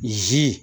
Zi